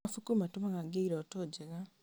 Mabuku matũmaga ngĩe irooto njega.